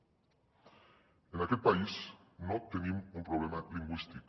en aquest país no tenim un problema lingüístic